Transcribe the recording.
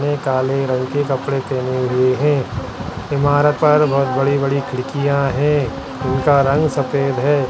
ने काले रंग के कपड़े पहने हुए हैं इमारत पर बहोत बड़ी बड़ी खिड़कियाँ है उनका रंग सफेद है।